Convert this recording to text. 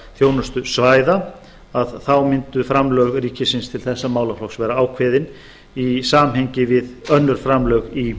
þjónustusvæða þá mundu framlög ríkisins til þessa málaflokks vera ákveðin í samhengi við önnur framlög í